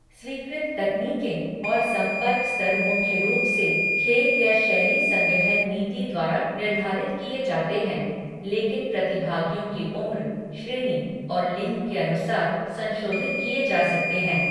स्वीकृत तकनीकें और संपर्क स्तर मुख्य रूप से खेल या शैली संगठन नीति द्वारा निर्धारित किए जाते हैं, लेकिन प्रतिभागियों की उम्र, श्रेणी, और लिंग के अनुसार संशोधित किए जा सकते हैं।